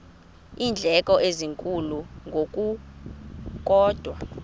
iindleko ezinkulu ngokukodwa